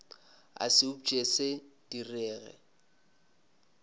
a se upše se direge